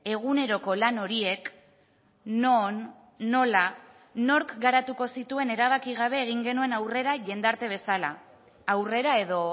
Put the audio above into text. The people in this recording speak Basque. eguneroko lan horiek non nola nork garatuko zituen erabaki gabe egin genuen aurrera jendarte bezala aurrera edo